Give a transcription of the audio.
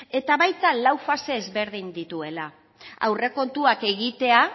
eta baita lau fase ezberdin dituela aurrekontuak egitea